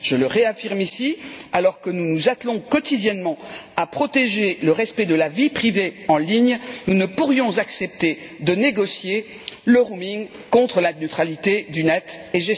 Je le réaffirme ici alors que nous nous attelons quotidiennement à protéger le respect de la vie privée en ligne, nous ne pourrions accepter de négocier le roaming contre la neutralité de l'internet.